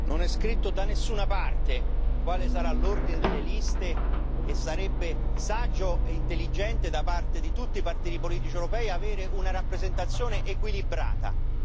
Non è scritto da nessuna parte quale sarà l'ordine delle liste e sarebbe saggio e intelligente da parte di tutti i partiti politici europei avere una rappresentazione equilibrata.